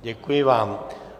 Děkuji vám.